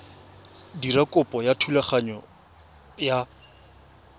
dira kopo ya thulaganyo ya